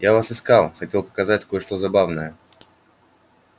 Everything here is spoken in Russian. я вас искал хотел показать кое-что забавное